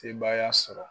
Sebaaya sɔrɔ